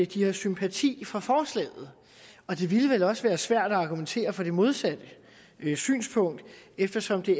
de har sympati for forslaget og det ville vel også være svært at argumentere for det modsatte synspunkt eftersom det